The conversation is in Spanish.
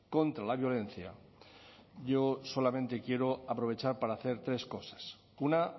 contra la violencia yo solamente quiero aprovechar para hacer tres cosas una